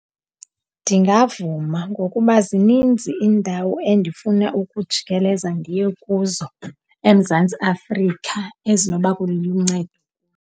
Ndingavuma ngokuba zininzi indawo endifuna ukujikeleza ndiye kuzo eMzantsi Afrika luncedo.